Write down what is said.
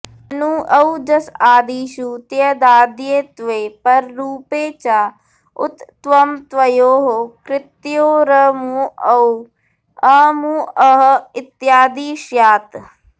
ननु औजसादिषु त्यदाद्यत्वे पररूपे च उत्त्वमत्वयोः कृतयोरमुऔ अमुअः इत्यादि स्यात्